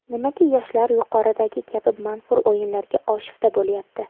Nimaga yoshlar yuqoridagi kabi manfur o‘yinlarga oshufta bo‘lyapti?